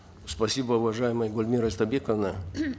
спасибо уважаемая гульмира истайбековна